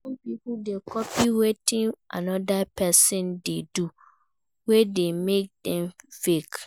Some pipo de copy wetin another persin dey do wey de make dem fake